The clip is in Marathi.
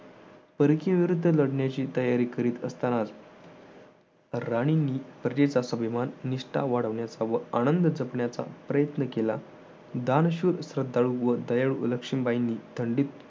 परकीय विरुद्ध लढण्याची तयारी करत असताना राणींनी प्रजेचा अभिमान निष्ठा वाढवण्यास व आनंद जपण्याचा प्रयत्न केला. दानशूर श्रद्धाळू व दयाळू लक्ष्मीबाईंनी थंडीत